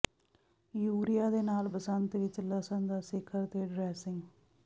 urea ਦੇ ਨਾਲ ਬਸੰਤ ਵਿੱਚ ਲਸਣ ਦਾ ਸਿਖਰ ਤੇ ਡ੍ਰੈਸਿੰਗ